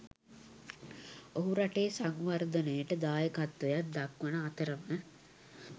ඔහු රටේ සංවර්ධනයට දායකත්වයක් දක්වන අතරම